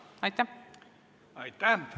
Aitäh!